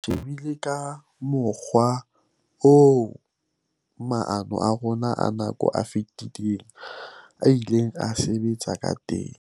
"Re shebile ka mokgwa oo maano a rona a nako e fetileng a ileng a sebetsa ka teng."